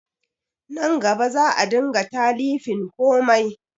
Nan gaba za a dinga talifin komai